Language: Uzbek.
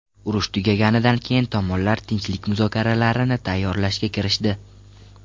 Urush tugaganidan keyin tomonlar tinchlik muzokaralarini tayyorlashga kirishdi.